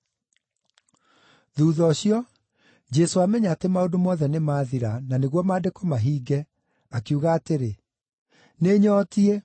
Thuutha ũcio, Jesũ amenya atĩ maũndũ mothe nĩmathira, na nĩguo Maandĩko mahinge, akiuga atĩrĩ, “Nĩnyootiĩ.”